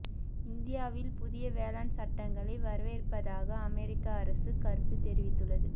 இந்தியாவில் புதிய வேளாண் சட்டங்களை வரவேற்பதாக அமெரிக்க அரசு கருத்து தெரிவித்துள்ளது